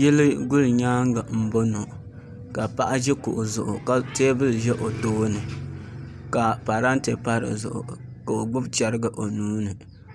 Yili gulinyaangi n boŋo ka paɣa ʒi kuɣu zuɣu ka teebuli ʒɛ o tooni ka parantɛ pa dizuɣu ka o gbubi chɛrigi o nuuni